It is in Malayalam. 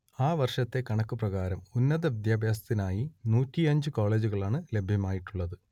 ആ വർഷത്തെ കണക്കു പ്രകാരം ഉന്നതവിദ്യാഭ്യാസത്തിനായി നൂറ്റിയഞ്ച് കോളേജുകളാണ് ലഭ്യമായിട്ടുള്ളത്